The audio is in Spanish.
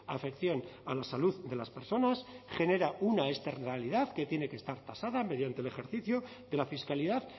afección a la salud de las personas genera una externalidad que tiene que estar tasada mediante el ejercicio de la fiscalidad